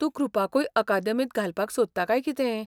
तूं कृपाकूय अकादेमींत घालपाक सोदता काय कितें?